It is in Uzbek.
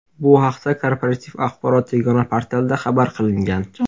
Bu haqda Korporativ axborot yagona portalida xabar qilingan .